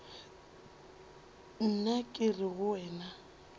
nna ke re go wena